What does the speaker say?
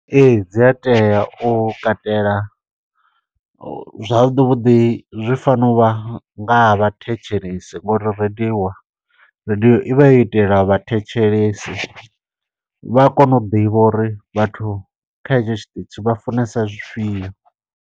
Ee dzi a tea u katela. Zwavhuḓi vhuḓi zwi fanela u vha, nga havha thetshelesi ngo uri rediwa radiyo i vha yo itelwa vhathetshelesi. Vha a kona u ḓivha uri vhathu kha hetsho tshiṱitshi vha funesa zwifhio.